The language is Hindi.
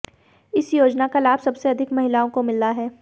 इस योजना का लाभ सबसे अधिक महिलाओं को मिला है